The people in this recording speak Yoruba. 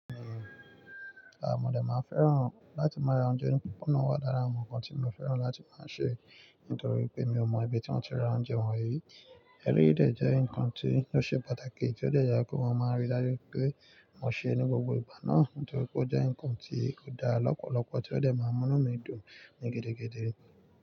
À, mo de máa fẹ́ràn láti máa ra oúnjẹ nípọnú wá, lára àwọn nǹkan tí mo fẹ́ràn láti máa ṣe nítorí pé mi ò mọ ibi tí wón ti ra oúnjẹ wọ̀nyí. Ẹleyií de jẹ́ nǹkan tí ó ṣe pàtàkì tí ó dára kó máa rí láti pé mo ṣe ní gbogbo ìgbà náà nítorí pé ó jẹ́ nǹkan tí kò dá lọ́pọ̀lọpọ̀ tí ó de máa múnu mi dùn ní gidi gidigidi.